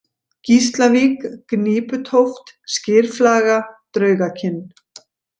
Gíslavík, Gníputóft, Skyrflaga, Draugakinn